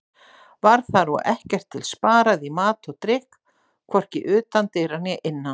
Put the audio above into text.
Var þar og ekkert til sparað í mat og drykk, hvorki utan dyra né innan.